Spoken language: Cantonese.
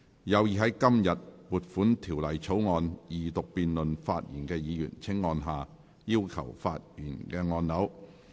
有意在今天就撥款條例草案二讀辯論發言的議員，請按下"要求發言"按鈕。